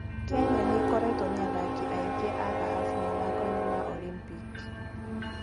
Kenya nĩ ĩkoretwo na athaki aingĩ a thahabu mathako-inĩ ma Olimpiki.